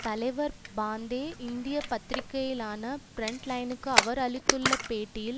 தலைவர் பாந்தே இந்திய பத்திரிகையில் ஆனா புரண்ட் லைனுக்கு அவர் அளித்துள்ள பேட்டியில்